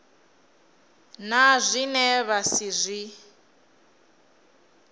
na zwine vha si zwi